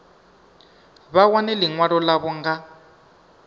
vha wane ḽiṅwalo ḽavho nga